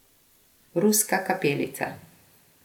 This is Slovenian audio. Ruska kapelica.